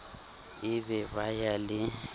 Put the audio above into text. e be ba ya le